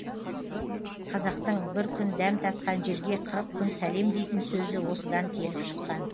қазақтың бір күн дәм татқан жерге қырық күн сәлем дейтін сөзі осыдан келіп шыққан